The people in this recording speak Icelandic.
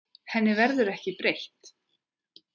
Henni verður ekki breytt.